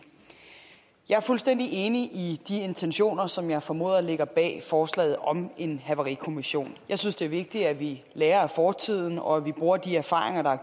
jeg er fuldstændig enig i de intentioner som jeg formoder ligger bag forslaget om en havarikommission jeg synes det er vigtigt at vi lærer af fortiden og at vi bruger de erfaringer der er